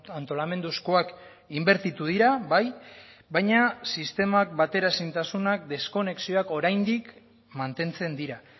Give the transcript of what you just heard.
antolamenduzkoak inbertitu dira bai baina sistemak bateraezintasunak deskonexioak oraindik mantentzen dira